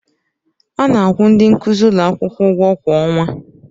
A na-akwụ ndị nkuzi ụlọ akwụkwọ ụgwọ kwa ọnwa.